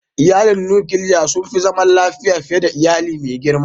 Iyalin nukiliya sun fi zaman lafiya fiye da iyali mai girma.